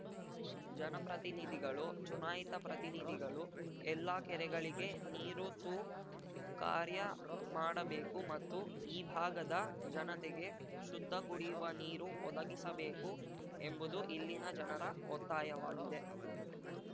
ಜನಪ್ರತಿನಿಧಿಗಳು ಚುನಾಯಿತ ಪ್ರತಿನಿಧಿಗಳು ಎಲ್ಲ ಕೆರೆಗಳಿಗೆ ನೀರು ತು ಕಾರ್ಯ ಮಾಡಬೇಕು ಮತ್ತು ಈ ಭಾಗದ ಜನತೆಗೆ ಶುದ್ಧ ಕುಡಿಯುವ ನೀರು ಒದಗಿಸಬೇಕು ಎಂಬುದು ಇಲ್ಲಿನ ಜನರ ಒತ್ತಾಯವಾಗಿದೆ